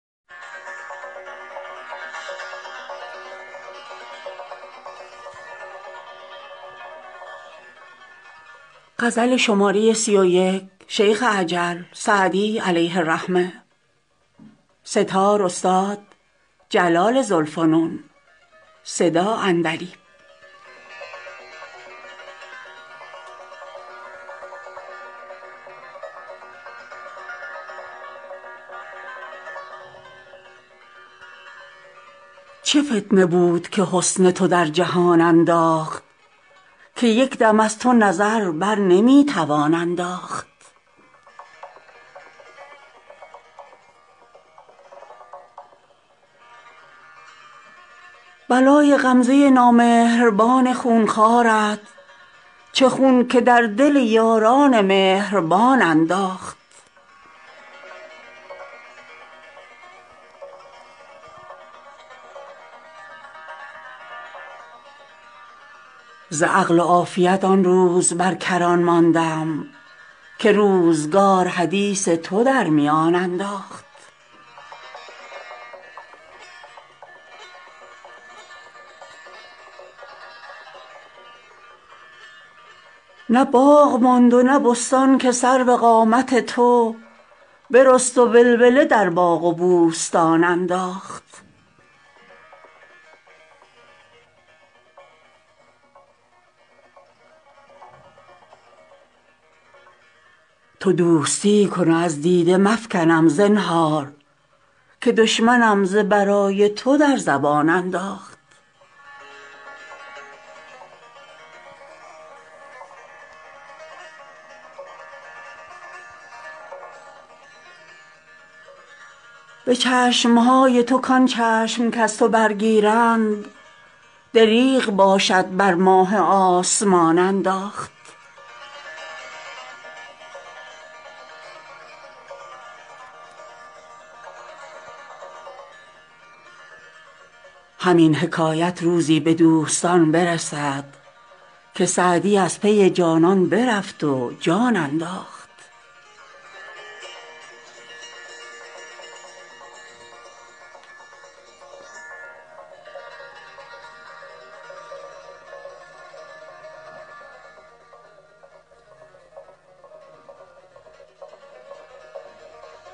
چه فتنه بود که حسن تو در جهان انداخت که یک دم از تو نظر بر نمی توان انداخت بلای غمزه نامهربان خون خوارت چه خون که در دل یاران مهربان انداخت ز عقل و عافیت آن روز بر کران ماندم که روزگار حدیث تو در میان انداخت نه باغ ماند و نه بستان که سرو قامت تو برست و ولوله در باغ و بوستان انداخت تو دوستی کن و از دیده مفکنم زنهار که دشمنم ز برای تو در زبان انداخت به چشم های تو کان چشم کز تو برگیرند دریغ باشد بر ماه آسمان انداخت همین حکایت روزی به دوستان برسد که سعدی از پی جانان برفت و جان انداخت